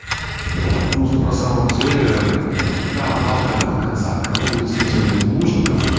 ну тут на самом деле да палка о двух концах кому-то действительно не нужно кому-то